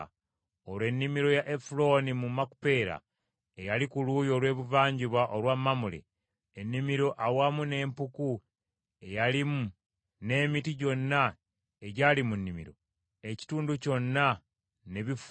Olwo ennimiro ya Efulooni mu Makupeera, eyali ku luuyi olw’ebuvanjuba olwa Mamule, ennimiro awamu n’empuku eyalimu, n’emiti gyonna egyali mu nnimiro ekitundu kyonna ne bifuuka bya